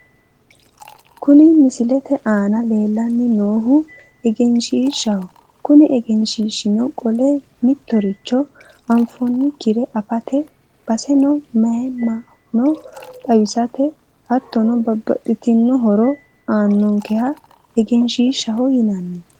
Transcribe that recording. Kuni misilete aana leellanni noohu egenshiiahaha kuni egenshiishshino qole mittoricho anfoommokkire afate baseno mayiimmano xawisate hattono babbaxxitinno horo aannonkeha egenshiishshaho yinanni.